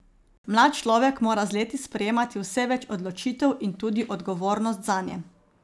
Mlad človek mora z leti sprejemati vse več odločitev in tudi odgovornost zanje.